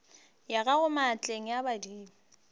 ya gago maatleng a madimo